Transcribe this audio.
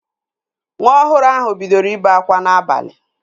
Nwa ọhụrụ ahụ bidoro ibe akwa n'abalị